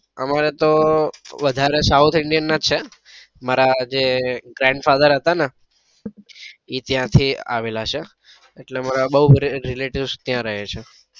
અમારે તો વધારે south Indian ના જ છે મારા જે grandfather હતા ને એ ત્યાં થી આવેલા છે એટલે અમારે બઉ relatives ત્યાં રહે છે.